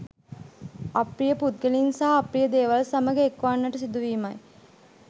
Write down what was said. අප්‍රිය පුද්ගලයින් සහ අප්‍රිය දේවල් සමඟ එක්වන්නට සිදුවීමයි.